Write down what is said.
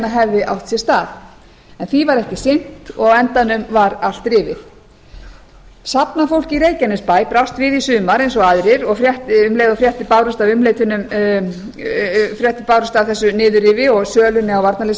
hefði átt sér stað en því var ekki sinnt og á endanum var allt rifið safnafólk í reykjanesbæ brást við í sumar eins og aðrir um leið og fréttir bárust af þessu niðurrifi og sölunni á